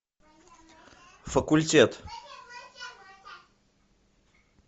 факультет